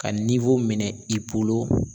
Ka minɛ i bolo